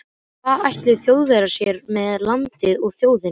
Hvað ætluðu Þjóðverjar sér með landið og þjóðina?